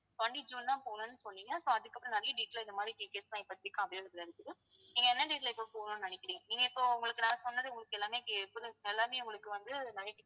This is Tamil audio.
twenty ஜூன் தான் போகணும்னு சொன்னீங்க so அதுக்கப்புறம் நிறைய date ல இந்த மாதிரி details லாம் இப்போதைக்கு available ஆ இருக்குது நீங்க என்ன date ல இப்ப போகணும்னு நினைக்கிறீங்க நீங்க இப்ப உங்களுக்கு நான் சொன்னது உங்களுக்கு எல்லாமே உங்களுக்கு வந்து